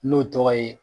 N'o tɔgɔ ye